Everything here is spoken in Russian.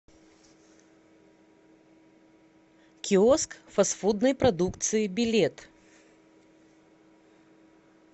киоск фастфудной продукции билет